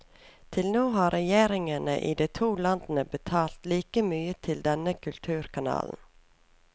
Til nå har regjeringene i de to landene betalt like mye til denne kulturkanalen.